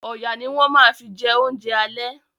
Ọ̀yà ni wọ́n ma fi jẹ oúnjẹ àlẹ́